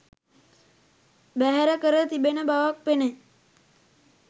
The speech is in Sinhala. බැහැර කර තිබෙන බවක් පෙනේ.